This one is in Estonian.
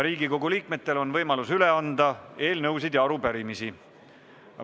Riigikogu liikmetel on võimalus üle anda eelnõusid ja arupärimisi.